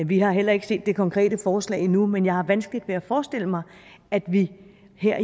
vi har heller ikke set det konkrete forslag endnu men jeg har vanskeligt ved at forestille mig at vi her